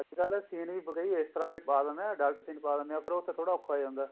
ਅੱਜਕਲ ਕੁਛ scene ਵੀ ਇਸ ਤਰ੍ਹਾਂ ਦੇ ਪਾ ਦਿੰਨੇ ਆ ਗਲਤ scene ਪਾ ਦਿੰਨੇ ਆ ਉੱਥੇ ਥੋੜਾ ਗਲਤ scene ਹੋ ਜਾਂਦਾ